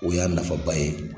O y'a nafaba ye.